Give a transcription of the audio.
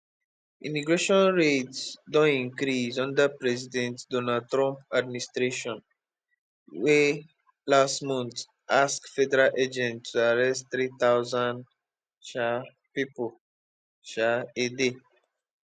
immigration raids don increase under president donald trump administration wey last mont ask federal agents to arrest three thousand um pipo um a day